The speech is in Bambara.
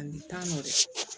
A bi taa nɔfɛ